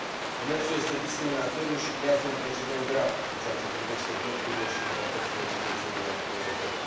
Demersul este discriminatoriu și creează un precedent grav în ceea ce privește drepturile și libertățile cetățenilor europeni.